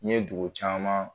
Ɲe dugu caaman